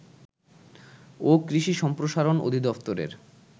ও কৃষি সম্প্রসারণ অধিদফতরের